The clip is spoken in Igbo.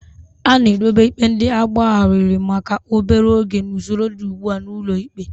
A na-edobe ikpe ndị agbagharịrị maka obere oge n'usoro dị ugbu a n'ụlọ ikpe.